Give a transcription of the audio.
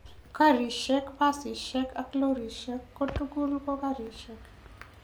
garishek ,basishek ak lorishek ko tugul ko garishek